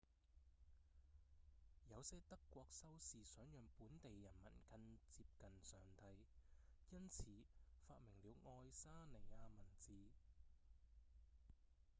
有些德國修士想讓本地人民更接近上帝因此發明了愛沙尼亞文字